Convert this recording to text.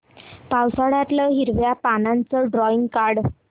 पावसाळ्यातलं हिरव्या पानाचं ड्रॉइंग काढ